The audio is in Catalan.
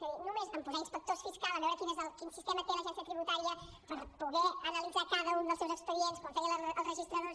és a dir només en posar inspectors fiscals a veure quin sistema té l’agència tributària per poder analitzar cada un dels seus expedients com feien els registradors